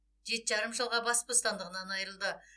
жеті жарым жылға бас бостандығынан айырылды